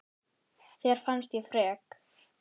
Þér fannst ég frek.